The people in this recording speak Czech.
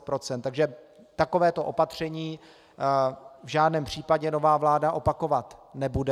Takže takovéto opatření v žádném případě nová vláda opakovat nebude.